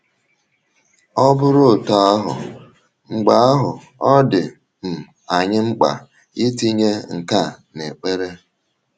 Ọ bụrụ otú ahụ,, mgbe ahụ ọ dị um anyị mkpa itinye nke a n’ekpere.